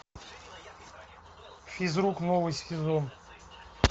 физрук новый сезон